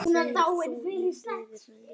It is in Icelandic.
Hvíl þú í friði frændi.